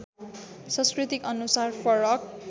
संस्कृति अनुसार फरक